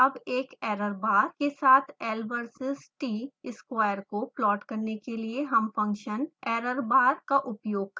अब एक error bar के साथ l versus t square को प्लॉट करने के लिए हम फंक्शन errorbar का उपयोग करेंगे